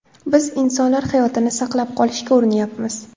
Biz insonlar hayotini saqlab qolishga urinyapmiz.